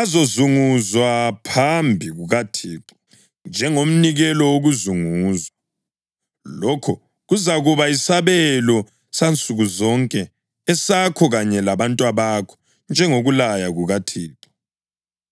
azozunguzwa phambi kukaThixo njengomnikelo wokuzunguzwa. Lokho kuzakuba yisabelo sansukuzonke esakho kanye labantwabakho, njengokulaya kukaThixo.”